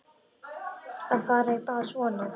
Fara í bað og svona.